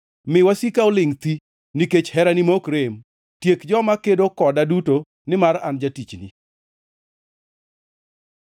Mi wasika olingʼ thi, nikech herani ma ok rem; tiek joma kedo koda duto nimar an jatichni.